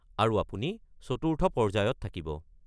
আৰু আপুনি চতুৰ্থ পৰ্য্যায়ত থাকিব।